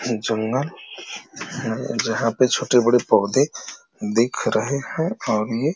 ह जंगल है। जहाँ पे छोटे बड़े पौधे दिख रहे हैं और ये --